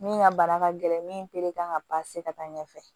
Min ka baara ka gɛlɛn min pere n ka ka taa ɲɛfɛ